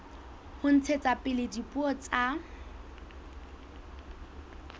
ho ntshetsa pele dipuo tsa